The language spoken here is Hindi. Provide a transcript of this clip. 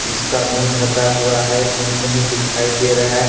इसका मुंह ढका हुआ है मुंह नहीं दिखाई दे रहा है।